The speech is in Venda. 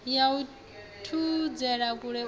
ya u thudzela kule u